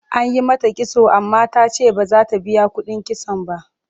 An yi mata kitso amma ta ce ba za ta biya kuɗin kitson ba.